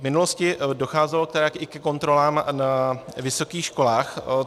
V minulosti docházelo tedy i ke kontrolám na vysokých školách.